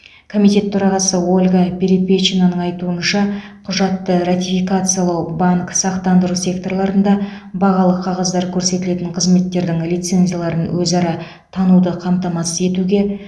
комитет төрағасы ольга перепечинаның айтуынша құжатты ратификациялау банк сақтандыру секторларында бағалы қағаздар көрсетілетін қызметтердің лицензияларын өзара тануды қамтамасыз етуге